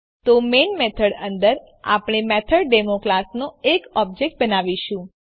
તો main method અંદર આપણે મેથોડેમો ક્લાસનો એક ઓબ્જેક્ટ બનાવીશું